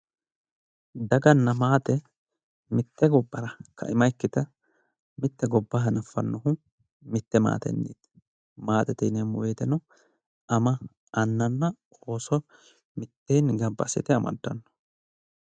daganna maate mitte gobbara kaima ikkite mitte gobba hanaffannohu mitte maatenniiti maatete yineemmo woteno ama annanna ooso mitteenni gamba assite amaddanno.